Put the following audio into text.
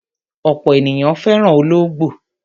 Ọ̀pọ̀ ènìyàn fẹ́ràn olóńgbò.